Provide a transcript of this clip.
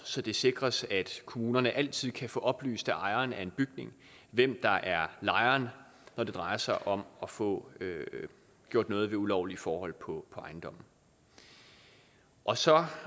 så det sikres at kommunerne altid kan få oplyst af ejeren af en bygning hvem der er lejeren når det drejer sig om at få gjort noget ved ulovlige forhold på ejendommen og så